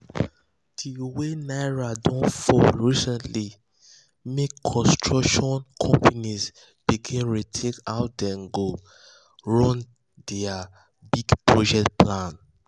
the way naira don fall recently don make construction companies begin rethink how dem go run um their big project plans.